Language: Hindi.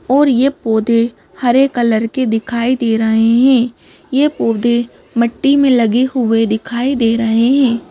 और यह पौधे हरे कलर के दिखाई दे रहे हैं यह पौधे मिट्टी में लगे हुए दिखाई दे रहे हैं।